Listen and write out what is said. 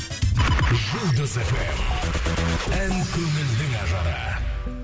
жұлдыз фм ән көңілдің ажары